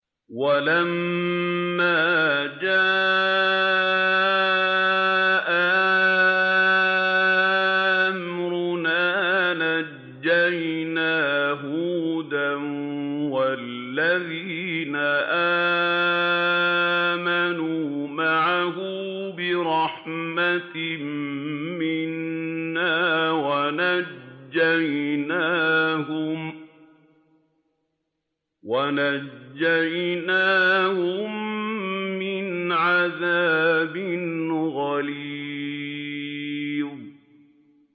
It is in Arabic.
وَلَمَّا جَاءَ أَمْرُنَا نَجَّيْنَا هُودًا وَالَّذِينَ آمَنُوا مَعَهُ بِرَحْمَةٍ مِّنَّا وَنَجَّيْنَاهُم مِّنْ عَذَابٍ غَلِيظٍ